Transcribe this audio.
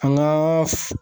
An ka